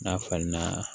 N'a falenna